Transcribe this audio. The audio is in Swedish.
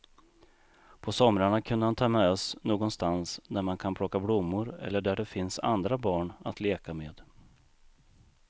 På somrarna kunde han ta med oss någonstans där man kan plocka blommor eller där det finns andra barn att leka med.